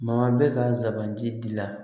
Ma bɛ ka zan giri gilan